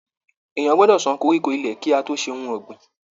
Èèyàn gbọdọ sàn koríko ilé kí a tó ṣe ohùn ọ̀gbìn.